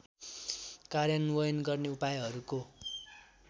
कार्यान्वयन गर्ने उपायहरूको